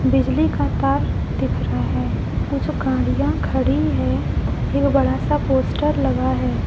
बिजली का तार दिख रहा है कुछ गाड़ियां खड़ी है एक बड़ा सा पोस्टर लगा है।